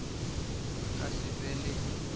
a ka se be le